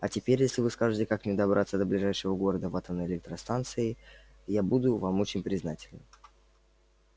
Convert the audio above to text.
а теперь если вы скажете как мне добраться до ближайшего города в атомной энергостанцией я буду вам очень признателен